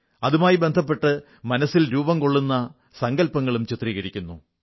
അതുമായി ബന്ധപ്പെട്ട് മനസ്സിൽ രൂപം കൊള്ളുന്ന സങ്കല്പങ്ങളും ചിത്രീകരിക്കുന്നു